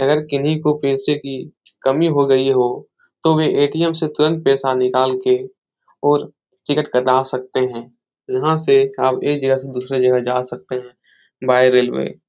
अगर किन्ही को पैसे की कमी हो गई हो तो वे ए.टी.एम. से तुरन्त पैसा निकाल के और टिकट कटा सकते हैं यहाँ से आप एक जगह से दूसरे जगह जा सकते हैं बाई रेलवे ।